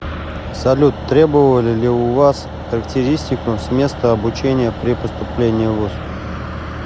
салют требовали ли у вас характеристику с места обучения при поступлении в вуз